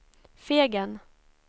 Fegen